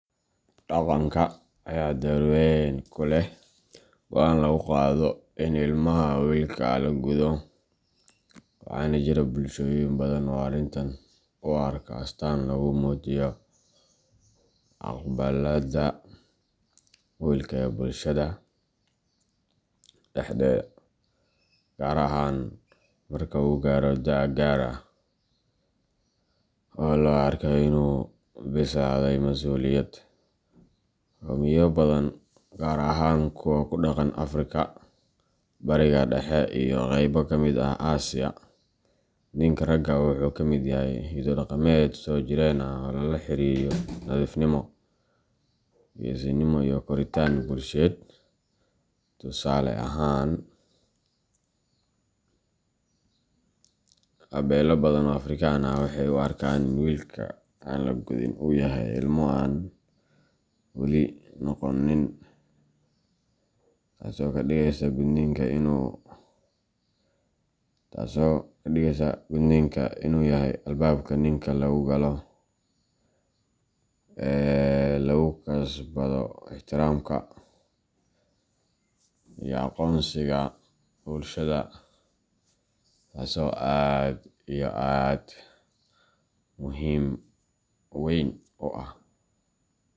Dhaqanka ayaa door weyn ku leh go'aanka lagu gaadho in ilmaha wiilka ah la guddo, waxaana jira bulshooyin badan oo arrintan u arka astaan lagu muujiyo aqbalaadda wiilka ee bulshada dhexdeeda, gaar ahaan marka uu gaaro da’ gaar ah oo loo arko in uu u bislaaday masuuliyad. Qowmiyado badan, gaar ahaan kuwa ku dhaqan Afrika, Bariga Dhexe, iyo qaybo ka mid ah Aasiya, gudniinka ragga wuxuu ka mid yahay hiddo dhaqameed soo jireen ah oo lala xiriiriyo nadiifnimo, geesinimo, iyo koritaan bulsheed. Tusaale ahaan, beelo badan oo Afrikaan ah waxay u arkaan in wiilka aan la gudin uu yahay "ilmo aan weli noqon nin", taasoo ka dhigeysa gudniinku in uu yahay albaabka ninka lagu galo ee lagu kasbado ixtiraamka iyo aqoonsiga bulshada. Taso aad iyo aad muhim weyn u ah.